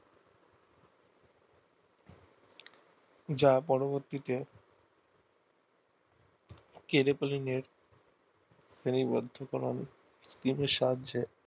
যা পরবর্তীকে কারিপালিনের সীমাবদ্ধতা ম্যান টিম আর সাহাজ্য